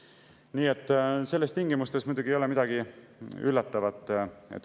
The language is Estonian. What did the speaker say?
Nii et nendes tingimustes muidugi ei ole midagi üllatavat.